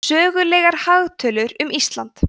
sögulegar hagtölur um ísland